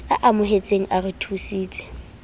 a amohetseng a re thusitse